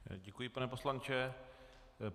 Děkuji, pane poslanče.